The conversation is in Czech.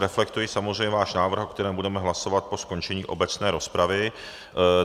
Reflektuji samozřejmě váš návrh, o kterém budeme hlasovat po skončení obecné rozpravy.